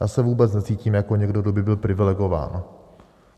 Já se vůbec necítím jako někdo, kdo by byl privilegován.